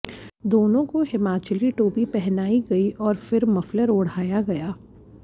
दोनों को हिमाचली टोपी पहनाई गई और फिर मफलर ओढ़ाया गया